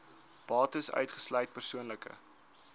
bates uitgesluit persoonlike